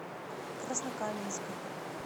краснокаменска